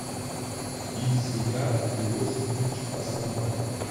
ильсеяр иосифович асанбаев